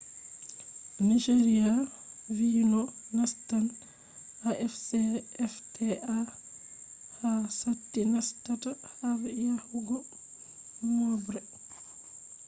nigeria vi no nastan afcfta ha sati nastata har yahugo moobre